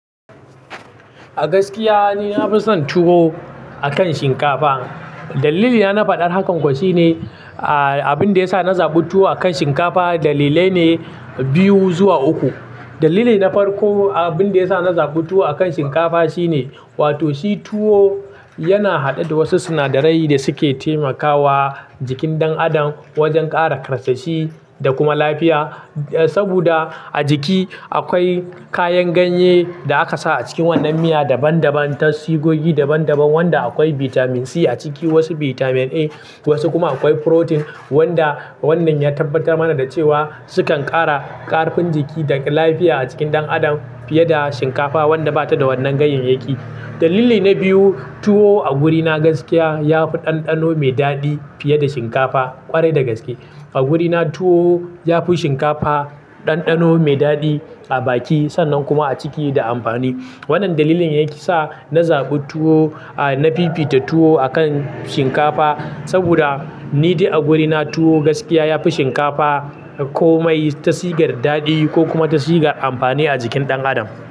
A gaskiya ni na fi son tuwo akan shinkafa. Dalili na na faɗar hakan kuwa shine, ah, abin da ya sa na zaɓi tuwo akan shinkafa dalilai ne biyu zuwa uku. Dalili na farko, abin da ya sa na zaɓi tuwo akan shinkafa shine, wato shi tuwo yana haɗe da wasu sinadarai da suke taimakawa jikin ɗan adam wajen ƙara ƙarsashi da kuma lafiya. Saboda a jiki akwai kayan ganye da aka sa a cikin wannan miya daban daban, tasigogi daban daban wanda akwai bitamin C a ciki, wasu bitamin A, wasu kuma akwai furotin wanda wannan ya tabbatar mana da cewa sukan ƙara ƙarfin jiki da lafiya a cikin ɗan adam fiye da shinkafa wadda bata da wannan ganyeyyaki. Dalili na biyu, tuwo a wurina gaskiya ya fi ɗanɗano mai daɗi fiye da shinkafa ƙwarai da gaske. A wurina tuwo ya fi shinkafa ɗanɗano mai daɗi a baki sannan kuma a ciki da amfani. Wannan dalilin yake sa na zaɓi tuwo, a, na fifita tuwo akan shinkafa saboda ni dai a wurina tuwo gaskiya ya fi shinkafa komai tasigar daɗi ko kuma tasigar amfani a jikin ɗan adam.